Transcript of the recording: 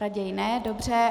Raději ne, dobře.